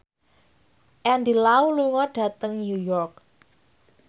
Andy Lau lunga dhateng New York